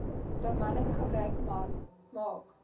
bemanning gebruik maak